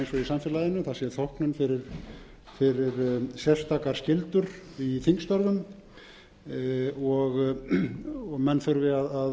samfélaginu það sé þóknun fyrir sérstakar skyldur í þingstörfum og menn þurfi að